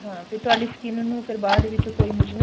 ਹਾਂ ਫੇਰ ਤੁਹਾਡੀ skin ਨੂੰ ਫੇਰ ਬਾਅਦ ਵਿੱਚ ਕੋਈ ਮੁਸ਼ਕਿਲ